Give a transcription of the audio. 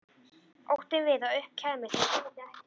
Óttinn við að upp kæmist að ég gæti ekkert.